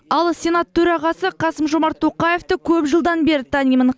ал сенат төрағасы қасым жомарт тоқаевты көп жылдан бері танимын